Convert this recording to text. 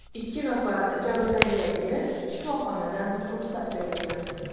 Ikki nafar jabrlanganga shifoxonadan ruxsat berilgan.